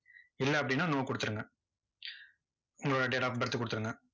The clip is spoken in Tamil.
இல்ல அப்படின்னா no கொடுத்துருங்க. உங்களோட date of birth கொடுத்துருங்க.